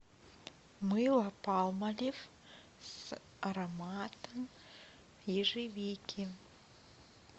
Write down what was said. мыло палмолив с ароматом ежевики